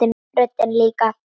Röddin líka.